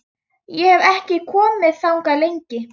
Ég hef ekki komið þangað lengi.